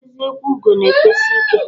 eziokwu ugo na efesi ike.